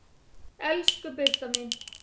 Elsku Birta mín.